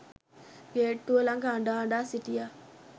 ගේට්ටුව ලඟ අඬ අඬා සිටියා